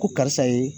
Ko karisa ye